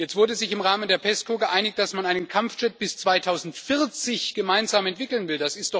Jetzt hat man sich im Rahmen der PESCO geeinigt, dass man einen Kampfjet bis 2040 gemeinsam entwickeln will.